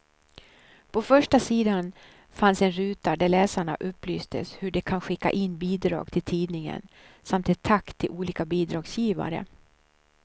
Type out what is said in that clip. På första sidan fanns en ruta där läsarna upplystes hur de kan skicka in bidrag till tidningen samt ett tack till olika bidragsgivare.